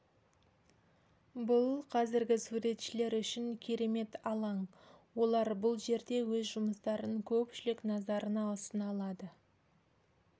бұл қазіргі суретшілер үшін керемет алаң олар бұл жерде өз жұмыстарын көпшілік назарына ұсына алады